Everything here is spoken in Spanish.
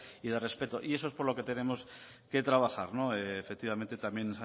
y de respeto y eso es por lo que tenemos que trabajar efectivamente también